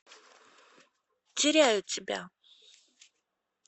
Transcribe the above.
теряю тебя